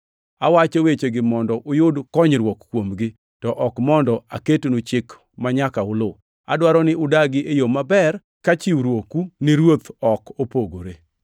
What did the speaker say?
Awacho wechegi mondo uyud konyruok kuomgi, to ok mondo aketnu chik manyaka uluw. Adwaro ni udagi e yo maber, ka chiwruoku ni Ruoth ok opogore.